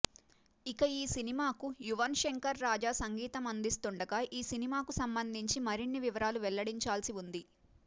ఇక ఈ సినిమాకు యువన్ శంకర్ రాజా సంగీతం అందిస్తుండగా ఈ సినిమాకు సంబంధించిన మరిన్ని వివరాలు వెల్లడించాల్సి ఉంది